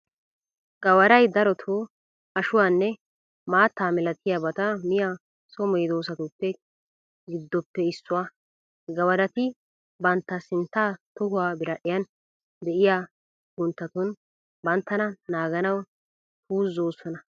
Gawaray daroto ashuwaanne maattaa milatiyabata miya so medoosatu giddoppe issuwaa. Gawarati bantta sintta tohuwaa biradhdhiyan de'iyaa cugunttatun banttana naaganawu puuzoosona.